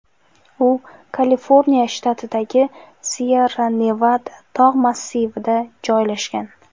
U Kaliforniya shtatidagi Syerra-Nevada tog‘ massivida joylashgan.